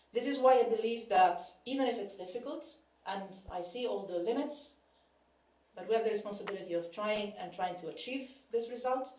This is why I believe that, even if it's difficult and I see all the limitations we have the responsibility to try to achieve this result.